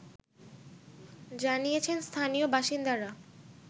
জানিয়েছেন স্থানীয় বাসিন্দারা